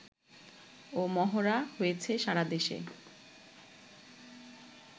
ও মহড়া হয়েছে সারা দেশে